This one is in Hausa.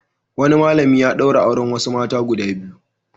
Wani malami ya ɗaura auren wasu mata guda biyu.